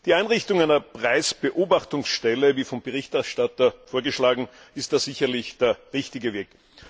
Die Einrichtung einer Preisbeobachtungsstelle wie vom Berichterstatter vorgeschlagen ist sicherlich der richtige Weg.